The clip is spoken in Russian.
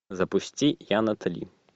запусти я натали